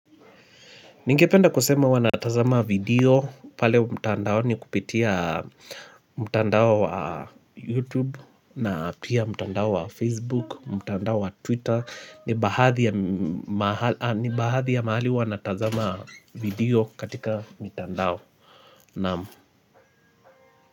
Ningependa kusema huwa natazama video pale mtandaoni kupitia mtandao wa YouTube na pia mtandao wa Facebook, mtandao wa Twitter. Ni baadhi ya mahali huwa natazama video katika mtandao naam.